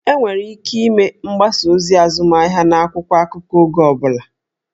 Enwere ike ịme mgbasa ozi azụmahịa n'akwụkwọ akụkọ oge ọ bụla